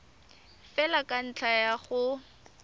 fela ka ntlha ya go